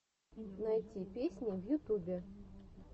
найти песни в ютубе